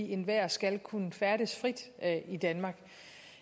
enhver skal kunne færdes frit i danmark